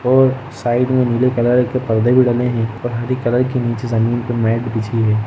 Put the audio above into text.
और साइड में नीले कलर के परदे भी डलें है और हरी कलर की नीचे ज़मींन पे मैट बिछी हैं।